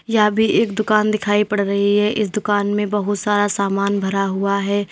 यहां भी एक दुकान दिखाई पड़ रही है इस दुकान में बहुत सारा सामान भरा हुआ है।